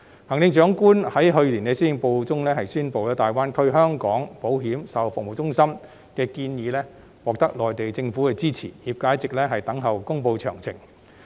行政長官在去年施政報告中宣布，大灣區香港保險售後服務中心的建議獲得內地政府的支持，業界一直等候公布詳情。